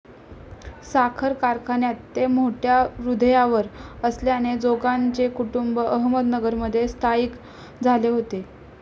साखर कारखान्यात ते मोठ्या हुद्द्यावर असल्याने जोगांचे कुटुंब अहमदनगरमध्ये स्थयिक झाले होते.